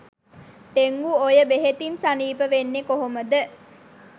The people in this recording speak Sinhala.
ඩෙංගු ඔය බෙහෙතින් සනීප වෙන්නෙ කොහොමද